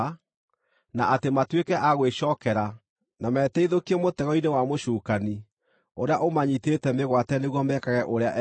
na atĩ matuĩke a gwĩcookera, na meteithũkie mũtego-inĩ wa mũcukani ũrĩa ũmanyiitĩte mĩgwate nĩguo mekage ũrĩa ekwenda.